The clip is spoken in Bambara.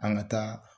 An ka taa